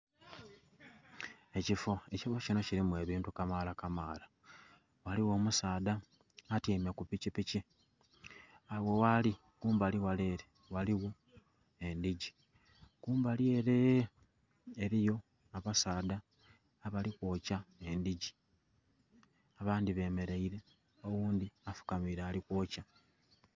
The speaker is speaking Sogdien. Ekifo ekifo kinho kilimu ebintu kamala kamala, ghaligho omusaadha atyaime ku pikipiki agho ghali kumbali ghale ere ghaligho endhigi, kumbali eree riyo abasaadha abali kwokya endhigi abandhibe mereire oghundhi afukamiire ali kwokya.